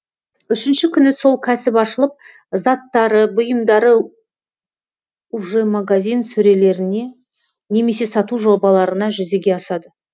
үшінші күні сол кәсіп ашылып заттары бұйымдары уже магазин сөрелеріне немесе сату жобаларына жүзеге асады